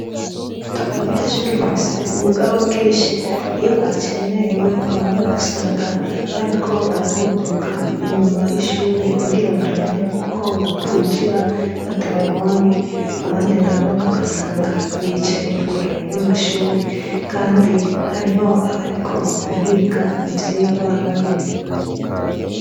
Abanyeshure bafise ubugaba bwinshi ,iyo bacerewe bamwe usanga bariko bararunguka nyuma y'ishure kugira barabe ko bokwinjira batababonye abandi nabo usanga bicariye kure yamashure kandi hariho bariko bariga ivyirwa babirembeje.